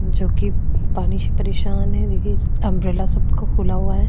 जो की पानी से परेशान हैं देखिए अम्ब्रेला सबका खुला हुआ हैं।